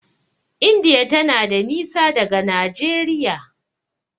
indiya tana da nisa daga Nageria